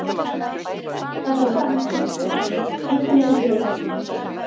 Það var slæmt loft þarna inni, einkennileg lykt og heitt.